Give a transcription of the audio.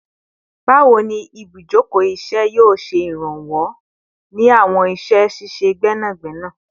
Bawo ni ibujoko iṣẹ yoo ṣe iranlọwọ ni awọn iṣẹ ṣiṣe gbẹnagbẹna?